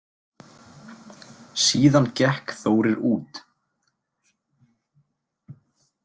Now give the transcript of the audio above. Síðan gekk Þórir út.